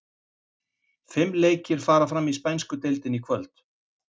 Fimm leikir fara fram í spænsku deildinni í kvöld.